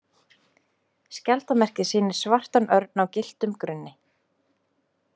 Skjaldarmerkið sýnir svartan örn á gylltum grunni.